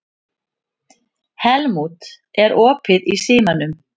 Helmút, er opið í Símanum?